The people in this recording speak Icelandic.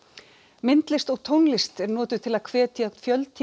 myndlist og tónlist er notuð til að hvetja